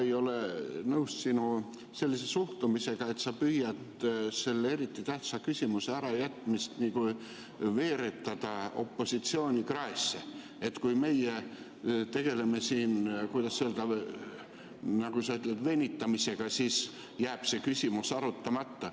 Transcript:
Ma ei ole nõus sinu sellise suhtumisega – sa püüad nagu selle eriti tähtsa küsimuse ärajätmist veeretada opositsiooni kraesse, et kui meie tegeleme siin, nagu sa ütled, venitamisega, siis jääb see küsimus arutamata.